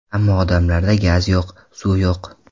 Ammo odamlarda gaz yo‘q, suv yo‘q.